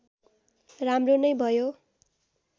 राम्रो नै भयो